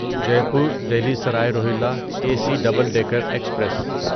Jaipur Delhi Sarai Rohilla A C double decker express